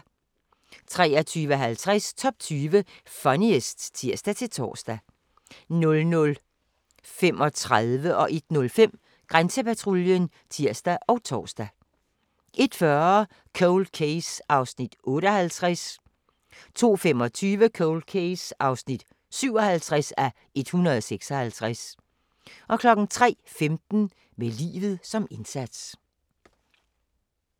23:50: Top 20 Funniest (tir-tor) 00:35: Grænsepatruljen (tir og tor) 01:05: Grænsepatruljen (tir og tor) 01:40: Cold Case (58:156) 02:25: Cold Case (57:156) 03:15: Med livet som indsats